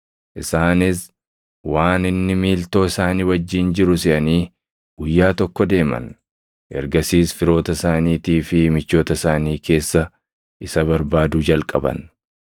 Isaanis waan inni miiltoo isaanii wajjin jiru seʼanii guyyaa tokko deeman. Ergasiis firoota isaaniitii fi michoota isaanii keessa isa barbaaduu jalqaban.